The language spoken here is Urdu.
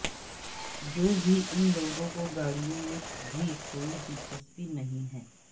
جو بھی ان لوگوں کو گاڑیوں میں بھی کوئی دلچسپی نہیں ہے